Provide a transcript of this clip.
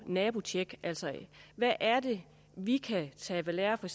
nabotjek altså hvad er det vi kan tage ved lære for